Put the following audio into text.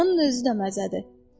Qarının özü də məzədir.